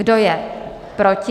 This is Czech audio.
Kdo je proti?